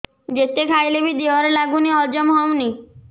ଯେତେ ଖାଇଲେ ବି ଦେହରେ ଲାଗୁନି ହଜମ ହଉନି